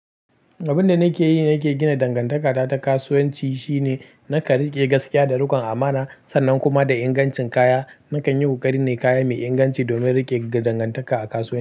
Abin da nake yi da nake gina dangantaka ta kasuwanci shine nakan riƙe gaskiya da rukon amana, sannan kuma da ingancin kaya. Nakan yi ƙoƙari na yi kaya mai inganci domin riƙe dangantaka a kasuwa.